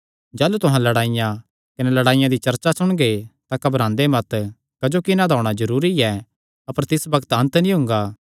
जाह़लू तुहां लडाईयां कने लड़ाईयां दी चर्चा सुणगे तां घबरांदे मत क्जोकि इन्हां दा होणा जरूरी ऐ अपर तिस बग्त अन्त नीं हुंगा